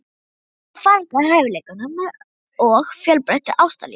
Eða fargað hæfileikanum með of fjölbreyttu ástalífi?